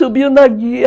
Subiu na guia